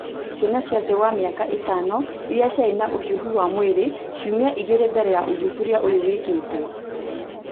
ciana cia thĩ wa mĩaka ĩtano iria ciarĩ na ũhiũhu wa mwĩrĩ ciumia igĩrĩ mbele ya ũthuthuria ũyũ wĩkĩtũo